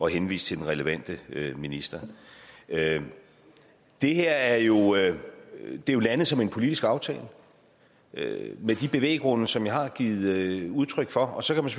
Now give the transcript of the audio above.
henvise til den relevante minister det her er jo er jo landet som en politisk aftale med de bevæggrunde som jeg har givet udtryk for og så kan man